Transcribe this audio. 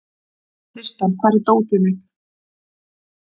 Tristan, hvar er dótið mitt?